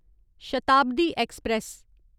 Shatabdi express